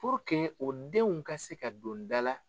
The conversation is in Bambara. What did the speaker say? o denw ka se ka don da la.